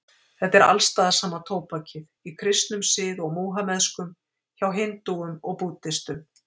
Þetta er alstaðar sama tóbakið, í kristnum sið og múhameðskum, hjá hindúum og búddistum.